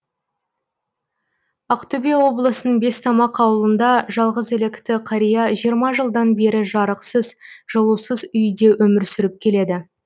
ақтөбе облысының бестамақ ауылында жалғызілікті қария жиырма жылдан бері жарықсыз жылусыз үйде өмір сүріп келеді